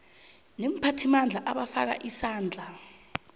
neemphathimandla abafaka isandla